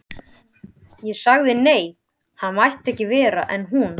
Ég sagði nei, hann mætti vera en ekki hún.